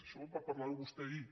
això va parlar ho vostè ahir